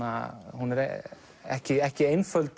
hún er ekki ekki einföld